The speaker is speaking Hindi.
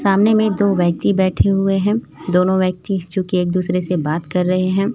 सामने में दो व्यक्ति बैठे हुये हैं दोनों व्यक्ति चुकी एक दूसरे से बात कर रहे हैं।